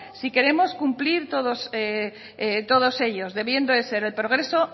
si queremos cumplir todos ellos debiendo de ser el progreso